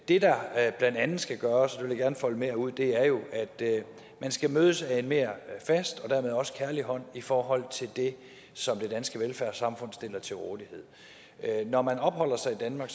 det der blandt andet skal gøres det vil jeg gerne folde mere ud er jo at man skal mødes af en mere fast og dermed også kærlig hånd i forhold til det som det danske velfærdssamfund stiller til rådighed når man opholder sig i danmark